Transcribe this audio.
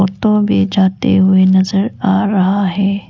Auto भी जाते हुए नजर आ रहा है।